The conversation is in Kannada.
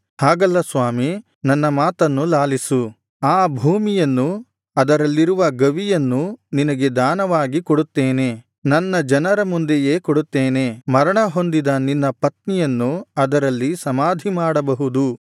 ಹಾಗಲ್ಲ ಸ್ವಾಮಿ ನನ್ನ ಮಾತನ್ನು ಲಾಲಿಸು ಆ ಭೂಮಿಯನ್ನೂ ಅದರಲ್ಲಿರುವ ಗವಿಯನ್ನೂ ನಿನಗೆ ದಾನವಾಗಿ ಕೊಡುತ್ತೇನೆ ನನ್ನ ಜನರ ಮುಂದೆಯೇ ಕೊಡುತ್ತೇನೆ ಮರಣಹೊಂದಿದ ನಿನ್ನ ಪತ್ನಿಯನ್ನು ಅದರಲ್ಲಿ ಸಮಾಧಿ ಮಾಡಬಹುದು